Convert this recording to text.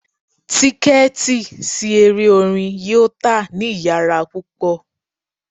Tiketi si ere orin orin yoo ta ni iyara pupọ